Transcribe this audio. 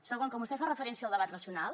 segon quan vostè fa referència al debat racional